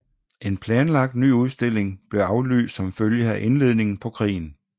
En planlagt ny udstilling blev aflyst som følge af indledningen på krigen